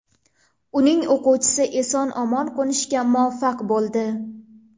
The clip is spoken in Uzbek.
Uning o‘quvchisi eson-omon qo‘nishga muvaffaq bo‘ldi.